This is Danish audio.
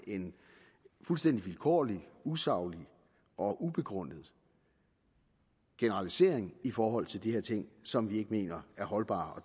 en fuldstændig vilkårlig usaglig og ubegrundet generalisering i forhold til de her ting som vi mener er holdbar og